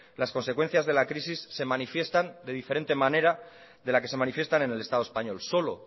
las consecuencias de la crisis se manifiestan de diferente manera de la que se manifiestan en el estado español solo